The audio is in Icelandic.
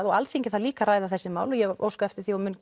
og Alþingi þarf líka að ræða þessi mál og ég óska eftir því og mun